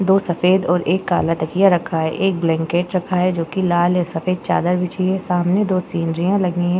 दो सफेद और एक काला तकिया रखा है। एक ब्लैंकेट रखा है जो कि लाल या सफ़ेद चादर बिछी है सामने। दो सिनरियाँ लगी हैं।